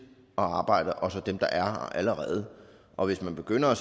og arbejder og så dem der er her allerede og hvis man begynder at